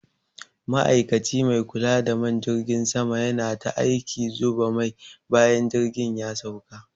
Ma'ikaci mai kula da man jirgin sama yana ta aikin zuba mai bayan jirgin ya sauka.